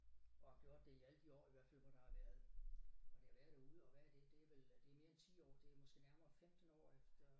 Og har gjort det i alle de år i hvert fald hvor der har været hvor det har været derude og hvad er det det vel det mere end 10 år det måske nærmere 15 år efter